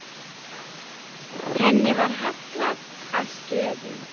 Henni var hallað að stöfum.